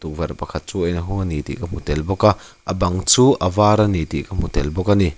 tukverh pakhat chu a inhawng a ni tih ka hmu tel bawk a a bang chu avar ani tih ka hmu tel bawk a ni.